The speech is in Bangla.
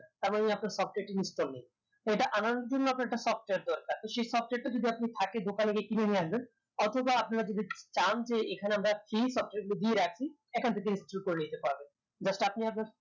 তার মানি আপনার software টি install নেই তো এটা আনানোর জন্য আপনার একটা software দরকার তো সেই software টা যদি আপনি থাকে দোকানে গিয়ে কিনে নিয়ে আসবেন অথবা আপনারা যদি চান যে এখানে আমরা free software গুলো দিয়ে রাখি এখান থেকে install করে নিতে পারবেন just আপনি আপনার